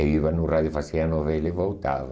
Eu ia no rádio, fazia a novela e voltava.